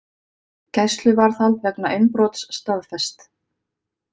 Gæsluvarðhald vegna innbrots staðfest